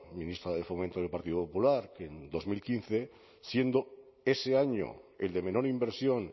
ministra de fomento del partido popular que en dos mil quince siendo ese año el de menor inversión